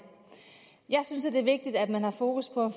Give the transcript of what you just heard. jeg synes det er vigtigt at man har fokus på